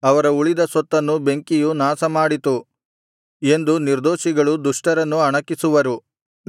ಅವರ ಉಳಿದ ಸೊತ್ತನ್ನು ಬೆಂಕಿಯು ನಾಶಮಾಡಿತು ಎಂದು ನಿರ್ದೋಷಿಗಳು ದುಷ್ಟರನ್ನು ಅಣಕಿಸುವರು